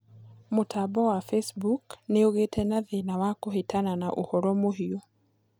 mutambo wa Facebook ni ugiite na thĩna wa kuhitana naũhoro muhiu